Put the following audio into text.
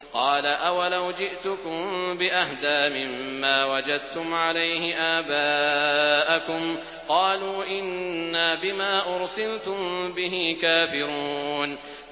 ۞ قَالَ أَوَلَوْ جِئْتُكُم بِأَهْدَىٰ مِمَّا وَجَدتُّمْ عَلَيْهِ آبَاءَكُمْ ۖ قَالُوا إِنَّا بِمَا أُرْسِلْتُم بِهِ كَافِرُونَ